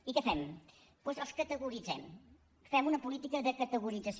i què fem doncs els categoritzem fem una política de categorització